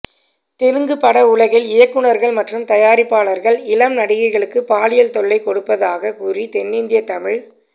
தெலுங்கு பட உலகில் இயக்குனர்கள் மற்றும் தயாரிப்பாளர்கள் இளம் நடிகைகளுக்கு பாலியல் தொல்லை கொடுப்பதாக கூறி தென்னிந்திய தமிழ்